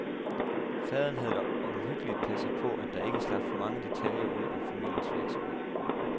Faderen havde omhyggeligt passet på, at der ikke slap for mange detaljer ud om familiens virksomhed.